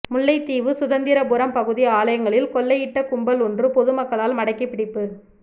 முல்லைத்தீவு சுதந்திரபுரம் பகுதி ஆலயங்களில் கொள்ளையிட்ட கும்பல் ஒன்று பொதுமக்களால் மடக்கிப்பிடிப்பு